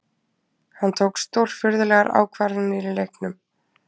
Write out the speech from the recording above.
Hann tók stórfurðulegar ákvarðanir í leiknum